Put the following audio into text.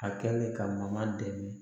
A kɛlen ka makan dɛmɛ